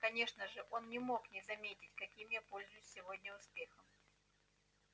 конечно же он не мог не заметить каким я пользуюсь сегодня успехом